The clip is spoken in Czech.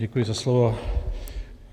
Děkuji za slovo.